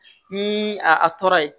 Ni a tɔɔrɔ ye